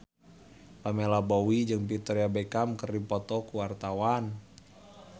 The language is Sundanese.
Pamela Bowie jeung Victoria Beckham keur dipoto ku wartawan